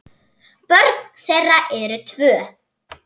Börn þeirra eru tvö.